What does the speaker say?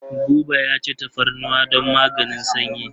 Buba ya ci tafarnuwa don maganin sanyi.